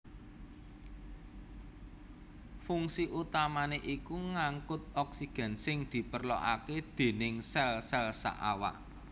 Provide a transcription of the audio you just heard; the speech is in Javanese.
Fungsi utamané iku ngangkut oksigen sing diperlokaké déning sel sel saawak